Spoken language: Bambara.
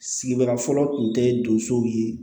Sigida fɔlɔ tun tɛ don sow ye